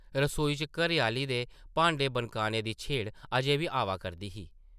रसोई चा घरै-आह्ली दे भांडे बनकाने दी छेड़ अजें बी आवा करदी ही ।